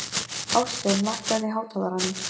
Ástvin, lækkaðu í hátalaranum.